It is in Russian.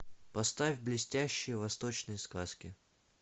поставь блестящие восточные сказки